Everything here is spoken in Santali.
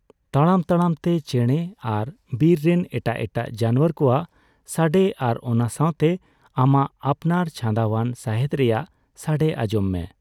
ᱛᱟᱲᱟᱢ ᱛᱟᱞᱟᱢ ᱛᱮ ᱪᱮᱬᱮ ᱟᱨ ᱵᱤᱨ ᱨᱮᱱ ᱮᱴᱟᱜ ᱮᱴᱟᱜ ᱡᱟᱱᱣᱟᱨ ᱠᱚᱣᱟᱜ ᱥᱟᱰᱮ ᱟᱨ ᱚᱱᱟ ᱥᱟᱣᱛᱮ ᱟᱢᱟᱜ ᱟᱯᱱᱟᱨ ᱪᱷᱟᱸᱫᱟᱣᱟᱱ ᱥᱟᱦᱮᱫ ᱨᱮᱭᱟᱜ ᱥᱟᱰᱮ ᱟᱡᱚᱢ ᱢᱮ ᱾